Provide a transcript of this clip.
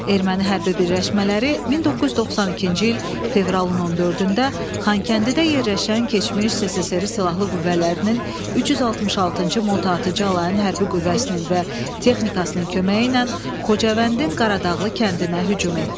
Erməni hərbi birləşmələri 1992-ci il fevralın 14-də Xankəndidə yerləşən keçmiş SSRİ-nin silahlı qüvvələrinin 366-cı motatıcı alayın hərbi qüvvəsinin və texnikasının köməyi ilə Xocavəndin Qaradağlı kəndinə hücum etdi.